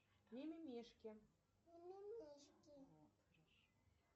мимимишки